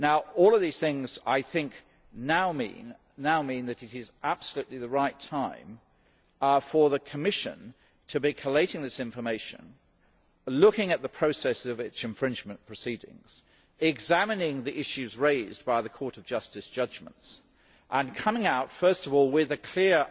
All of these things now mean that it is absolutely the right time for the Commission to be collating this information, looking at the process of infringement proceedings, examining the issues raised by the Court of Justice judgments and coming out, first of all, with a clear